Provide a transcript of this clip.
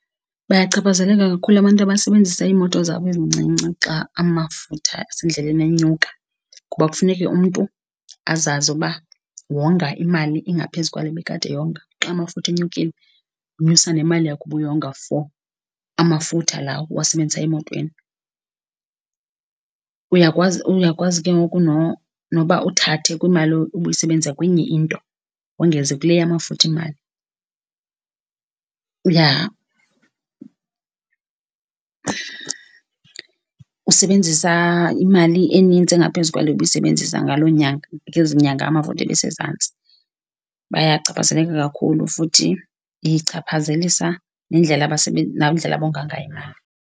Bayachaphazeleka kakhulu abantu abasebenzisa iimoto zabo ezincinci xa amafutha asendleleni enyuka kuba kufuneka umntu azazi uba wonga imali engaphezu kwale ebekade eyonga. Xa amafutha enyukile unyusa nemali yakho ubuyonga for amafutha la ubuwasebenzisa emotweni. Uyakwazi uyakwazi ke ngoku nokuba uthathe kwimali obuyisebenzisa kwenye into wongeze kule yamafutha imali. Uya usebenzisa imali enintsi engaphezu kwale ubuyisebenzisa ngaloo nyanga, ngezi nyanga amafutha ebesezantsi. Bayachaphazeleka kakhulu futhi ichaphazelisa nendlela nendlela abonga ngayo imali.